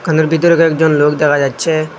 হলের ভিতরে কয়েকজন লোক দেখা যাচ্ছে।